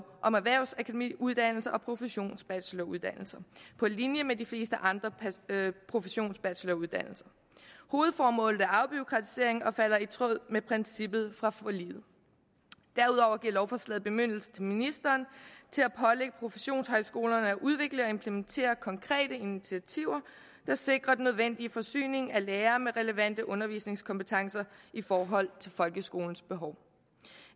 om erhvervsakademiuddannelser og professionsbacheloruddannelser på linje med de fleste andre professionsbacheloruddannelser hovedformålet er afbureaukratisering og falder i tråd med princippet fra forliget derudover giver lovforslaget bemyndigelse til ministeren til at pålægge professionshøjskolerne at udvikle og implementere konkrete initiativer der sikrer den nødvendige forsyning af lærere med relevante undervisningskompetencer i forhold til folkeskolens behov